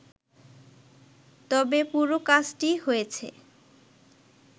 তবে পুরো কাজটি হয়েছে